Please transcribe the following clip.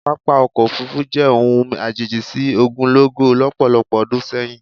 Pápá ọkọ̀ òfuurufú jẹ́ ohun àjèjì sí ogunlọ́gọ̀ lọ́pọ̀lọpọ̀ ọdún sẹ́yìn